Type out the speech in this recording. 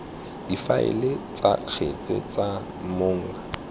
difaele tsa kgetse tsa mong